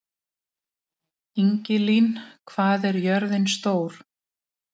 Ingilín, hvað er jörðin stór?